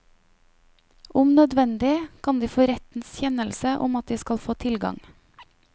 Om nødvendig kan de få rettens kjennelse om at de skal få tilgang.